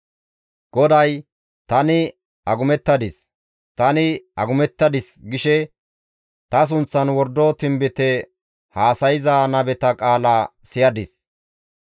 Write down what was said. GODAY, «Tani agumettadis; tani agumettadis» gishe ta sunththan wordo tinbite haasayza nabeta qaala siyadis.